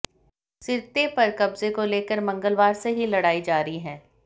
Sirte पर कब्जे को लेकर मंगलवार से ही लड़ाई जारी है